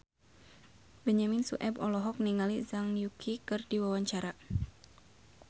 Benyamin Sueb olohok ningali Zhang Yuqi keur diwawancara